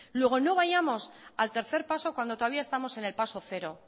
luego no vayamos al tercer paso cuando todavía estamos en el paso cero